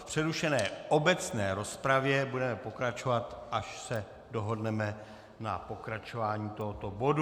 V přerušené obecné rozpravě budeme pokračovat, až se dohodneme na pokračování tohoto bodu.